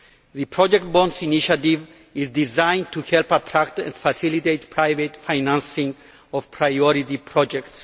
The project bond initiative is designed to help attract and facilitate private financing of priority projects.